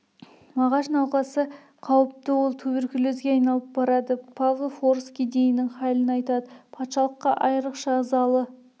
мағаш науқасы қауіпті ол туберкулезге айналып барады павлов орыс кедейінің халін айтады патшалыққа айрықша ош ызалы